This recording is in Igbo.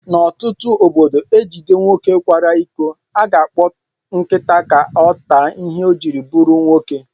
N'otutu ọbọdọ ejide nwoke kwara ịkọ, aga akpọ nkịta ka ọ taa ìhè ọ jiri bụrụ nwoke.